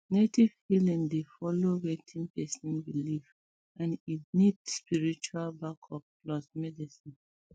native healing dey um follow wetin person believe and e need spiritual backup plus medicine